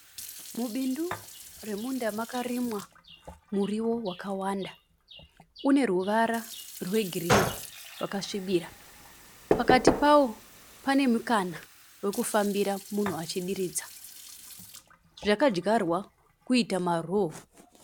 Mubindu remunda makarimwa muriwo wakawanda une ruvara rwegirini rwakasvibira. Pakati pane mukana wekufambira munhu achidiridza. Zvakadyarwa kuiita maroo.